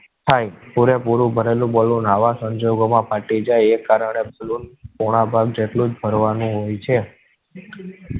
થાય પૂરે પૂરું ભરેલું balloon આવા સંજોગો માં ફાટી જાય. એ કારણે balloon પોણા ભાગ જેટલો જ ભરવા ના હોય છે.